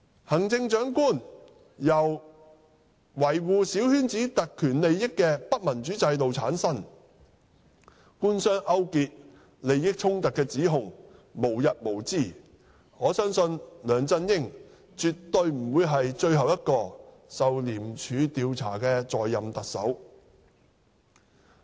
行政長官由維護小圈子特權利益的不民主制度產生，官商勾結和利益衝突的指控無日無之，我相信梁振英絕不會是最後一個受廉署調查的在任特首。